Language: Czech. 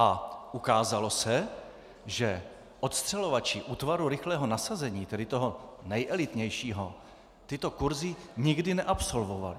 A ukázalo se, že odstřelovači Útvaru rychlého nasazení, tedy toho nejelitnějšího, tyto kursy nikdy neabsolvovali.